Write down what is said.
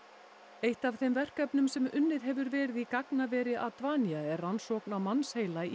eitt af þeim verkefnum sem unnið hefur verið í gagnaveri er rannsókn á mannsheila í